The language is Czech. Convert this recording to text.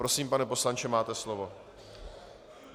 Prosím, pane poslanče, máte slovo.